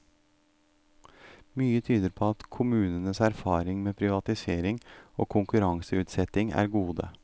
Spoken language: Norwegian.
Mye tyder på at kommunenes erfaring med privatisering og konkurranseutsetting er gode.